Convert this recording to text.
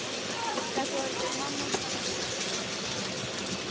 Þetta voru bara pabbi og mamma að skemmta sér.